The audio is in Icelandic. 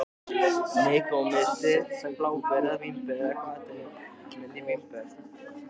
Hann sá glitta í Gerði og hún veifaði til hans.